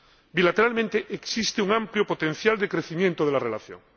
Bilateralmente, existe un amplio potencial de crecimiento de la relación.